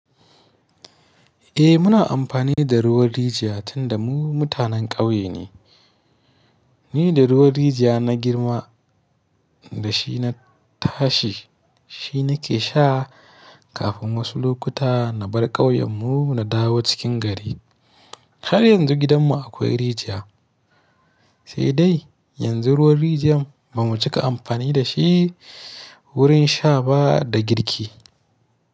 Eh muna amfani da ruwan rijiya tunda mu mutanen ƙauye ne. Ni da ruwan rijiya na girma da shi na tashi, shi na ke sha kafin wasu lokuta na bar ƙauyen mu na dawo cikin gari. Har yanzu gidan mu akwai rijiya sai dai yanzu ruwan rijiyar ba mu cika amfani da shi wurin sha ba da girki.